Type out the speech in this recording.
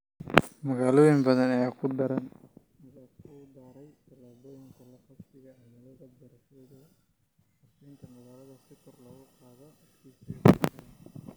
Magaalooyin badan ayaa ku daraya tallaabooyinka la qabsiga cimilada habraacyadooda qorshaynta magaalada si kor loogu qaado adkeysiga bulshada.